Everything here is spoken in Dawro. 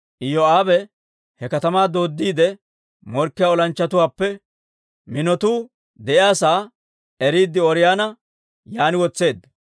Iyoo'aabe he katamaa dooddiidde, morkkiyaa olanchchatuwaappe minotuu de'iyaa sa'aa eriide, Ooriyoona yaan wotseedda.